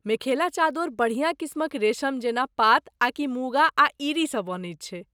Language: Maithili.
मेखेला चादोर बढ़िआँ किस्मक रेशम जेना पात आकि मूगा आ ईरी सँ बनैत छै।